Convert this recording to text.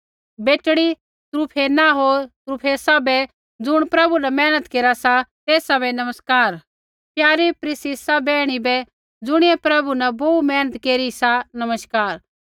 बेटड़ी त्रुफेना होर त्रुफेसा बै ज़ुण प्रभु न मेहनत केरा सा तेसा बै नमस्कार प्यारी पिरसिसा बैहणा बै ज़ुणियै प्रभु न बोहू मेहनत केरी सा नमस्कार